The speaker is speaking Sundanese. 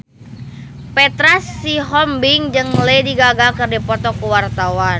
Petra Sihombing jeung Lady Gaga keur dipoto ku wartawan